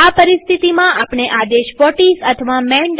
આ પરિસ્થિતિમાં આપણે આદેશ વ્હોટિસ અથવા માન